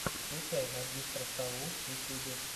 включай магистра саву в ютьюбе